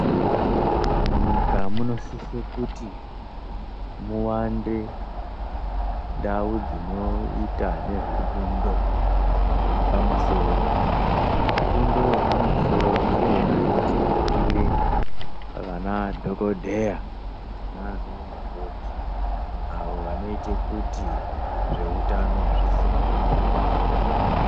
Munyika munosise kuti muwande, ndau dzinoita nezvefundo yepamusoro. Fundo yepamusoro ndiyona inotibikire vanadhokodheya naanamukoti ,avo vanoite kuti ,zveutano zvisimukire munyika.